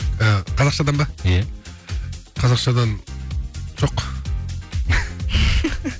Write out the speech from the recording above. ы қазақшадан ба иә қазақшадан жоқ